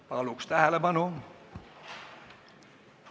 Paluks tähelepanu!